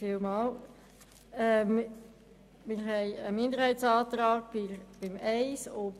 Wir haben zu den Massnahmen 1 und 4 einen Minderheitsantrag eingereicht.